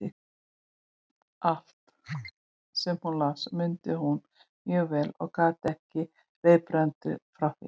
Allt, sem hún las, mundi hún mjög vel og gat sagt reiprennandi frá því.